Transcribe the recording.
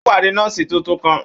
Ó pàdé nọ́ọ̀sì tuntun kan.